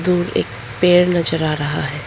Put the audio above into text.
दूर एक पेड़ नजर आ रहा है।